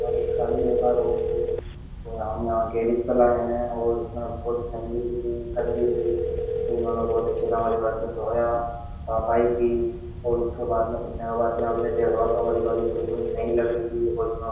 सारी गाड़ी बेकार हो गयी थी तो हम यहाँ गैरिज प लाये है और इसमें बहुत लम्बी सी थी गंदी थी तो इन्होंने बहुत अच्छे से हमारी गाड़ी को धोया सफाई की और उसके बाद में धोने के बाद हमने देखा तो हमारी गाड़ी बिल्कुल नयी लग रही थी और इन --